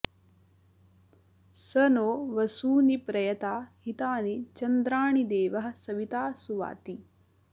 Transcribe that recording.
स नो वसूनि प्रयता हितानि चन्द्राणि देवः सविता सुवाति